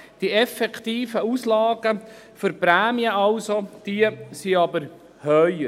Die effektiven Auslagen für die Prämien liegen jedoch höher.